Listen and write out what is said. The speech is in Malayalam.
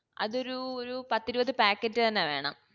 അതൊരു ഒരു പത്തിരുപത് packet തന്നെ വേണം